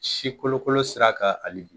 Si kolokolo sira kan hal bi.